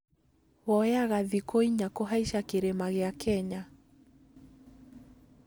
Woyaga thikũ inya kũhaica kĩrĩma gĩa Kenya